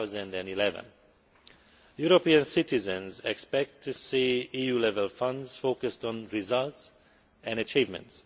2011. European citizens expect to see EU level funds focused on results and achievements.